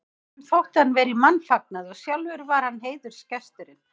Honum þótti hann vera í mannfagnaði og sjálfur var hann heiðursgesturinn.